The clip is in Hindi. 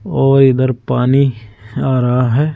और इधर पानी आ रहा है।